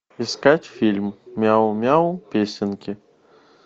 искать фильм мяу мяу песенки